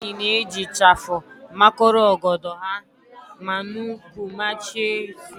Ụmụnwaanyị na-eji ịchafụ makọrọ ọgọdọ ha ma n'úkwù machie isi ha